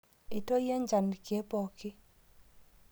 Eitoyio njan lkek pooki